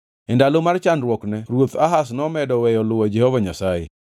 E ndalo mar chandruokne ruoth Ahaz nomedo weyo luwo Jehova Nyasaye.